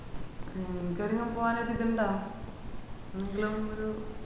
ഇൻക് ഒരു പോവാനൊരിത് ഇത്‌ ഇണ്ടോ എന്തെല്ങ്കിലിം ഒരു